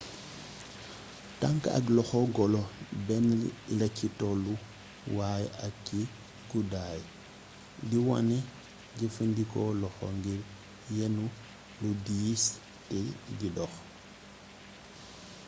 tank ak loxo golo bénn laci tollu waay ak ci gudday di wané jeefeendiko loxo ngir yénu lu diis té di dox